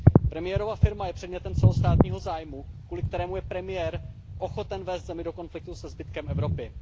Premiérova firma je předmětem celostátního zájmu, kvůli kterému je premiér ochoten vést zemi do konfliktu se zbytkem Evropy.